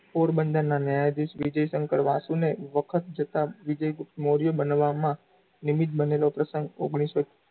પોરબંદરનાં ન્યાયાધીશ વિજય શંકર વાસુ ને વખત જતાં વિજય ગુપ્ત મોર્ય બનાવવામાં નિમિત બનેલો પ્રસંગ ઓગણીસો,